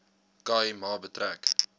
khai ma betrek